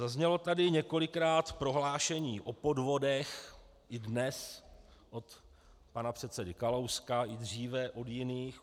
Zaznělo tady několikrát prohlášení o podvodech, i dnes od pana předsedy Kalouska, i dříve od jiných.